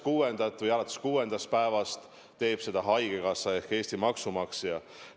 Ja alates 6. päevast teeb seda haigekassa ehk Eesti maksumaksja.